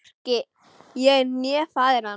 Hvorki ég né faðir hans.